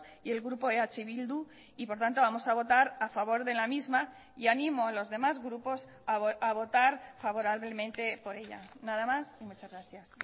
y el grupo eh bildu y por tanto vamos a votar a favor de la misma y animo a los demás grupos a votar favorablemente por ella nada más y muchas gracias